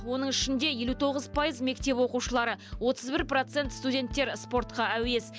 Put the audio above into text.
оның ішінде елу тоғыз пайыз мектеп оқушылары отыз бір процент студенттер спортқа әуес